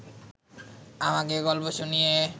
আমাকে গল্প শুনিয়ে